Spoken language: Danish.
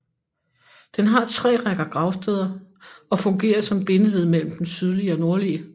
Den har tre rækker gravsteder og fungerer som bindeled mellem den sydlige og nordlige